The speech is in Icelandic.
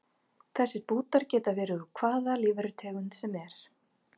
Þessir bútar geta verið úr hvaða lífverutegund sem er.